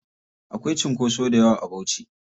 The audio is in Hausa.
Akwai cunkoso dayawa a Bauchi.